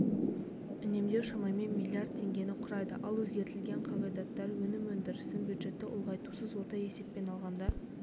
үнемдеу шамамен миллиард теңгені құрайды ал өзгертілген қағидаттар өнім өндірісін бюджетті ұлғайтусыз орта есеппен алғанда